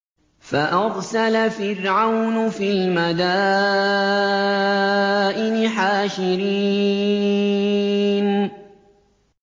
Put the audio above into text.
فَأَرْسَلَ فِرْعَوْنُ فِي الْمَدَائِنِ حَاشِرِينَ